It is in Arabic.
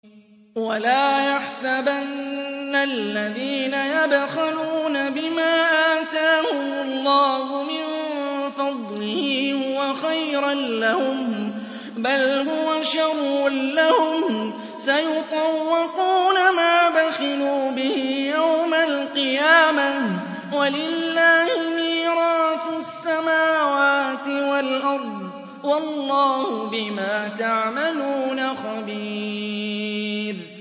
وَلَا يَحْسَبَنَّ الَّذِينَ يَبْخَلُونَ بِمَا آتَاهُمُ اللَّهُ مِن فَضْلِهِ هُوَ خَيْرًا لَّهُم ۖ بَلْ هُوَ شَرٌّ لَّهُمْ ۖ سَيُطَوَّقُونَ مَا بَخِلُوا بِهِ يَوْمَ الْقِيَامَةِ ۗ وَلِلَّهِ مِيرَاثُ السَّمَاوَاتِ وَالْأَرْضِ ۗ وَاللَّهُ بِمَا تَعْمَلُونَ خَبِيرٌ